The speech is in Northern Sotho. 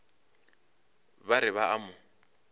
ba re ba a mo